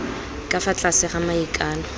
ka fa tlase ga maikano